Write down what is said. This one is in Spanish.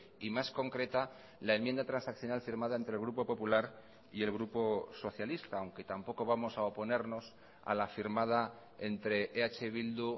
y más concreta la enmienda transaccional firmada entre el grupo popular y el grupo socialista aunque tampoco vamos a oponernos a la firmada entre eh bildu